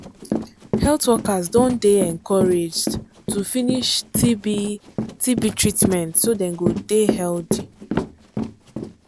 health workers don dey encouraged to finish tb tb treatment so dem go dey healthy.